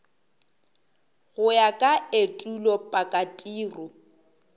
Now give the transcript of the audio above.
go ya ka etulo pakatiro